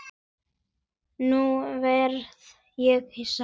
Nú varð ég hissa.